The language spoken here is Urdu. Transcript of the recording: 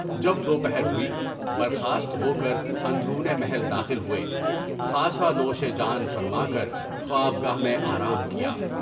جب دوپہر ہوئی، برخاست ہوکر اندرون محل داخل ہوئے، خاصہ نوش جان فرما کر خوابگاہ میں آرام کیا۔